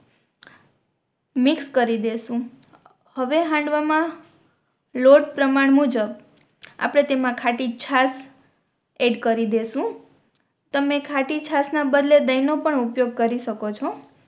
mix કરી દેસુ હવે હાંડવા મા લોટ પ્રમાણ મુજબ આપણે તેમા ખાટી છાસ એડ કરી દેસુ તમે ખાટી છાસ ના બદલે દહી નો પણ ઉપયોગ કરી શકો છો